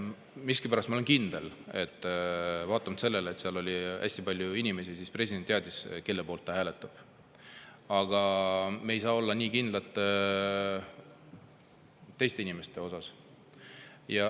Miskipärast ma olen küll kindel, et vaatamata sellele, et seal oli hästi palju inimesi, president teadis ise, kelle poolt ta hääletab, aga me ei saa olla nii kindlad teiste inimeste puhul.